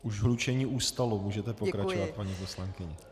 Už hlučení ustalo, můžete pokračovat, paní poslankyně.